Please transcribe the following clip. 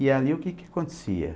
E ali o que que acontecia?